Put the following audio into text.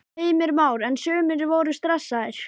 Heimir Már: En sumir voru stressaðir?